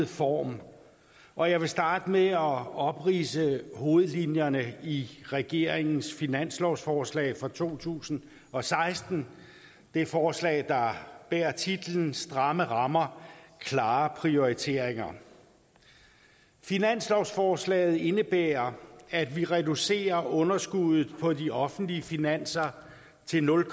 form og jeg vil starte med at opridse hovedlinjerne i regeringens finanslovsforslag for to tusind og seksten det forslag der bærer titlen stramme rammer klare prioriteringer finanslovsforslaget indebærer at vi reducerer underskuddet på de offentlige finanser til nul